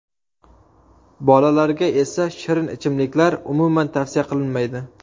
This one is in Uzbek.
Bolalarga esa shirin ichimliklar umuman tavsiya qilinmaydi.